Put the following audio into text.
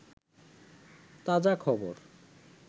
তাজাখবর